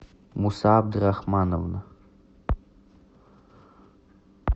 муса абдурахмановна